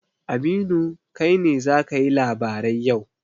Aminu, kai ne za ka yi labarai yau.